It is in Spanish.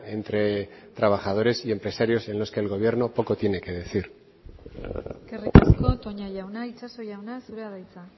entre trabajadores y empresarios en los que el gobierno poco tiene que decir eskerrik asko toña jauna itxaso jauna zurea da hitza